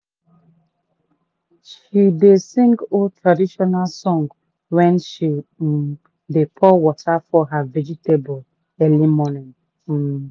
she dey sing old traditional song when she um dey pour water for her vegetable early morning. um